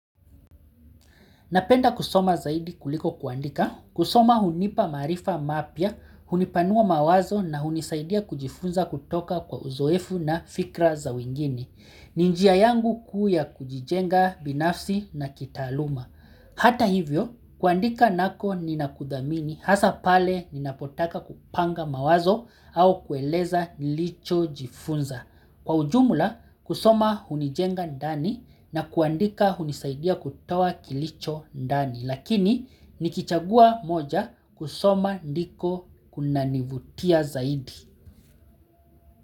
Napenda kusoma zaidi kuliko kuandika, kusoma hunipa maarifa mapya, hunipanua mawazo na hunisaidia kujifunza kutoka kwa uzoefu na fikra za wengine ninjia yangu kuu ya kujijenga binafsi na kitaaluma. Hata hivyo, kuandika nako ninakudhamini hasa pale ninapotaka kupanga mawazo au kueleza nilicho jifunza. Kwa ujumla kusoma hunijenga ndani na kuandika hunisaidia kutoa kilicho ndani. Lakini nikichagua moja kusoma ndiko kunanivutia zaidi.